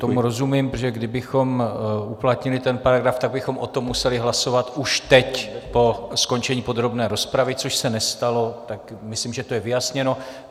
Tomu rozumím, protože kdybychom uplatnili ten paragraf, tak bychom o tom museli hlasovat už teď po skončení podrobné rozpravy, což se nestalo, tak myslím, že to je vyjasněno.